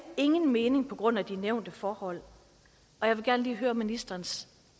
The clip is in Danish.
ingen mening på grund af de nævnte forhold jeg vil gerne lige høre ministerens